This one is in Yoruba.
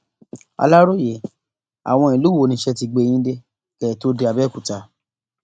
aláròye àwọn ìlú wo niṣẹ ti gbé yín dé kẹ ẹ tóó dé abẹọkúta